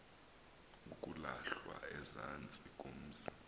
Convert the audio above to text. kulahlwa ezantsi komzi